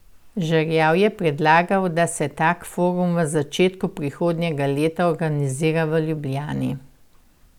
Žerjav je predlagal, da se tak forum v začetku prihodnjega lega organizira v Ljubljani.